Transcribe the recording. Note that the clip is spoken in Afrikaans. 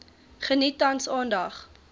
geniet tans aandag